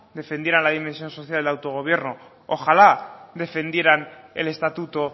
defendieran la dimensión social y el autogobierno ojalá defendieran el estatuto